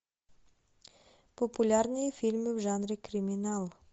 популярные фильмы в жанре криминал